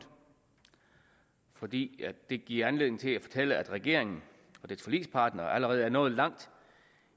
fordi det giver anledning til at fortælle at regeringen og dets forligspartnere allerede er nået langt